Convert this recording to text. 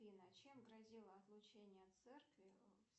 афина чем грозило отлучение от церкви